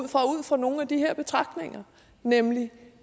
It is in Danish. fra nogle af de her betragtninger nemlig